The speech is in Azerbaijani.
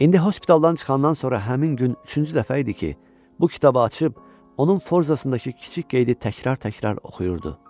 İndi hospitaldan çıxandan sonra həmin gün üçüncü dəfə idi ki, bu kitabı açıb, onun forzasındakı kiçik qeydi təkrar-təkrar oxuyurdu.